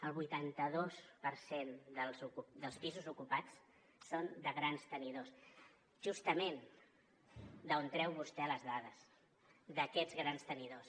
el vuitanta dos per cent dels pisos ocupats són de grans tenidors justament d’on treu vostè les dades d’aquests grans tenidors